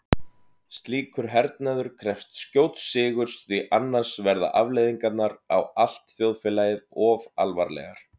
Slíkur hernaður krefst skjóts sigurs því annars verða afleiðingarnar á allt þjóðfélagið of alvarlegar.